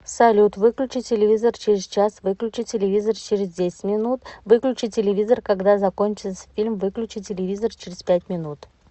салют выключи телевизор через час выключи телевизор через десять минут выключи телевизор когда закончится фильм выключи телевизор через пять минут